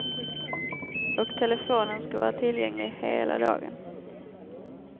Och telefonen ska vara tillgänglig hela dagen.